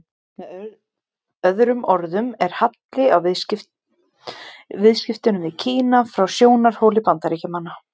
Með öðrum orðum er halli á viðskiptunum við Kína frá sjónarhóli Bandaríkjamanna.